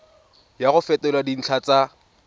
ya go fetola dintlha tsa